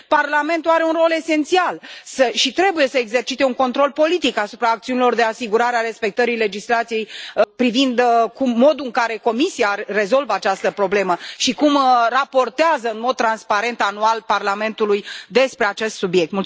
Parlamentul are un rol esențial și trebuie să exercite un control politic asupra acțiunilor de asigurare a respectării legislației, privind modul în care Comisia rezolvă această problemă și cum raportează, în mod transparent, anual, Parlamentului despre acest subiect.